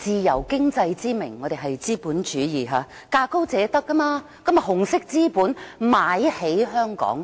香港奉行資本主義，價高者得，紅色資本便以"自由經濟"之名買起香港。